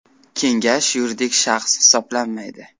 Kengash yuridik shaxs hisoblanmaydi.